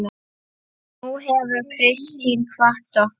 Nú hefur Kristín kvatt okkur.